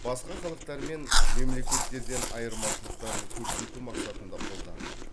басқа халықтар мен мемлекеттерден айырмашылықтарын көрсету мақсатында қолданған